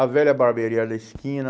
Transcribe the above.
A velha barbearia da esquina.